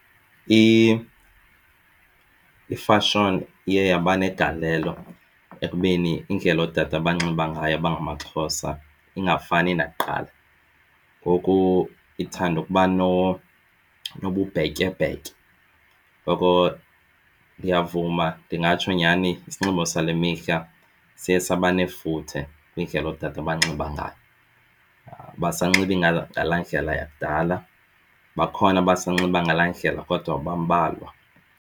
Ifashoni iye yaba negalelo ekubeni indlela ootata abanxiba ngayo abangamaXhosa ingafani nakuqala. Ngoku ithanda ukuba nobubhetyebhetye. Ngoko ndiyavuma ndingatsho nyhani isinxibo sale mihla siye saba nefuthe kwindlela ootata abanxiba ngayo. Abasanxibi ngalaa ndlela yakudala bakhona, abasanxiba ngalaa ndlela kodwa bambalwa.